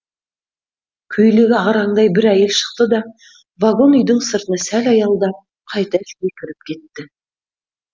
көйлегі ағараңдай бір әйел шықты да вагон үйдің сыртына сәл аялдап қайта ішке кіріп кетті